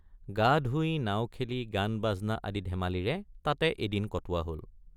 গা ধুই নাও খেলি গানবাজনা আদি ধেমালিৰে তাতে এদিন কটোৱা হল।